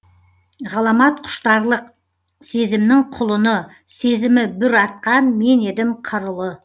ғаламат құштарлық сезімнің құлыны сезімі бүр атқан мен едім қыр ұлы